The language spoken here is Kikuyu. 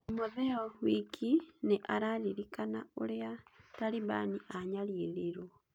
Timotheo Wiki nĩ ararĩrĩkana ũrĩa Taribani anyaririrwo.